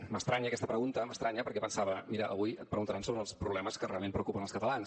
m’estranya aquesta pregunta m’estranya perquè pensava mira avui et preguntaran sobre els problemes que realment preocupen els catalans